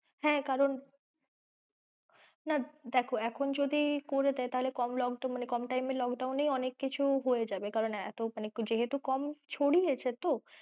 হ্যাঁ কারন, না দেখো এখন যদি করে দেয় তাহলে কম, মানে কম time এ lockdown এ অনেক কিছু হয়ে যাবে মানে যেহেতু কম ছড়িয়েছে তো,